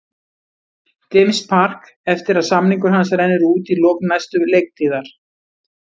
James Park eftir að samningur hans rennur út í lok næstu leiktíðar.